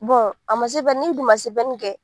a ma n'i dun ma kɛ